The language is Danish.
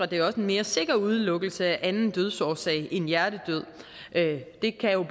det også en mere sikker udelukkelse af anden dødsårsag end hjertedød det kan